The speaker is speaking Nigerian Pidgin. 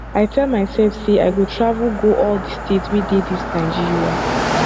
i tell myself say i go travel go all the states wey dey dis nigeria